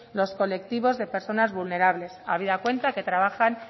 los colectivos de personas vulnerables habida cuenta que trabajan